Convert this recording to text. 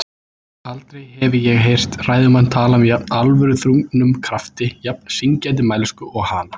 Aldrei hefi ég heyrt ræðumann tala með jafn alvöruþrungnum krafti, jafn syngjandi mælsku og hana.